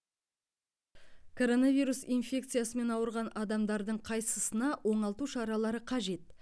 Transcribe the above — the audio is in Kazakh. коронавирус инфекциясымен ауырған адамдардың қайсысына оңалту шаралары қажет